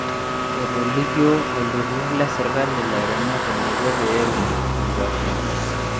Etolikio olturur le serkali lairemok eneiko pee eun nkwashen